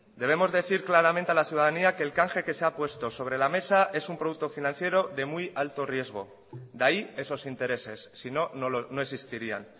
debemos decir claramente a la ciudadanía que el canje que se ha puesto sobre la mesa es un producto financiero de muy alto riesgo de ahí esos intereses si no no existirían